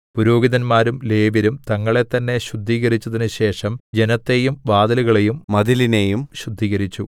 പുരോഹിതന്മാരും ലേവ്യരും തങ്ങളെത്തന്നെ ശുദ്ധീകരിച്ചതിനുശേഷം ജനത്തെയും വാതിലുകളെയും മതിലിനെയും ശുദ്ധീകരിച്ചു